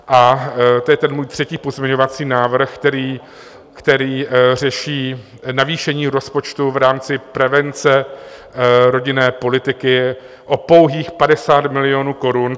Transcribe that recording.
A to je ten můj třetí pozměňovací návrh, který řeší navýšení rozpočtu v rámci prevence rodinné politiky o pouhých 50 milionů korun.